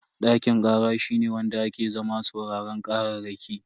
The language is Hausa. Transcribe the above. Dakin kara shine wanda ake zama sauraron kararraki.